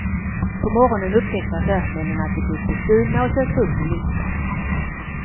På morgonen upptäckte affärsmännen att de blivit bestulna och sökte upp ministern.